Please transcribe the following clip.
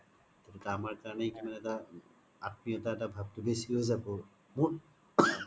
তেতিয়া আমাৰ কৰনেই কিমান এটা আত্মিওতা ভাব তো বেচি হয় যাব মোক